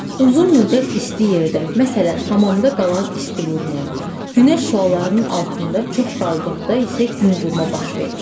Uzun müddət isti yerdə, məsələn, hamamda qalan isti vurma, günəş şüalarının altında çox qaldıqda isə gün vurma baş verir.